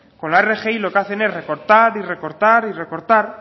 con la rgi lo que hacen es recortar y recortar y recortar